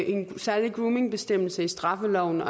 en særlig groomingbestemmelse i straffeloven